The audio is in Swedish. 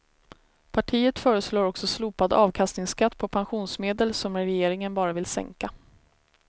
Partiet föreslår också slopad avkastningsskatt på pensionsmedel, som regeringen bara vill sänka.